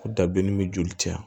Ko dabilennin bɛ joli cɛya